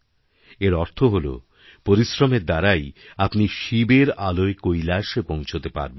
এর অর্থ হল পরিশ্রমের দ্বারাই আপনি শিবের আলয়কৈলাসে পৌঁছতে পারবেন